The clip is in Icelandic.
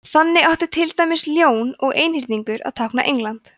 þannig átti til dæmis ljón og einhyrningur að tákna england